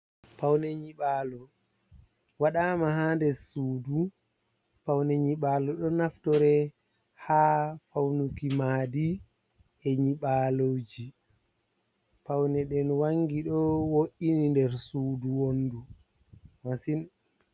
Pawne nyiɓalo waɗama ha der sudu paune nyiɓalo do naftore ha faunuki madi e nyiɓaloji paune ɗen wangi ɗo wo’ini nder sudu wondu masi.